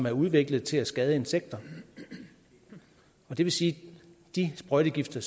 er udviklet til at skade insekter det vil sige at de sprøjtegifte